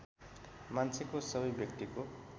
मान्छेको सबै व्यक्तिको